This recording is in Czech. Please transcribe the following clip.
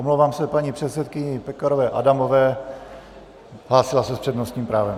Omlouvám se paní předsedkyni Pekarové Adamové, hlásila se s přednostním právem.